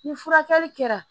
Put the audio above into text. Ni furakɛli kɛra